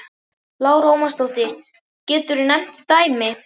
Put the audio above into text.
Lára Ómarsdóttir: Geturðu nefnt dæmi?